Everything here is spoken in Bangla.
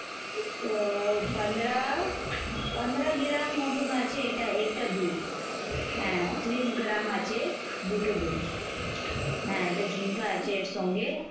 তো পনরা পনরা gram মতন আছে এটা একটা দুল। হ্যাঁ ত্রিশ grams আছে দুটো দুল। এটা ঝুমকা আছে এর সঙ্গে।